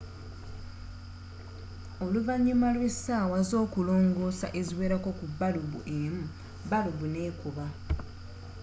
oluvannyuma lw'essaawa z'okulongoosa eziwerako ku balubu emu balubu n'ekuba